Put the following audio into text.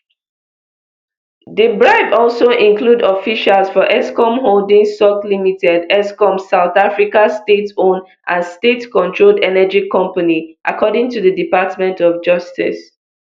di bribe also include officials for eskom holdings soc ltd eskom south africa state owned and state controlled energy company according to di department of justice